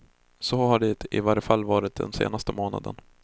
Så har det i alla fall varit den senaste månaden.